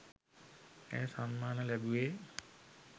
ඇය සම්මාන ලැබුවේ